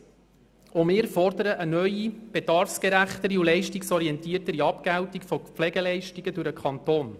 Erstens: Auch wir fordern eine neue, bedarfsgerechtere und leistungsorientiertere Abgeltung von Pflegeleistungen durch den Kanton.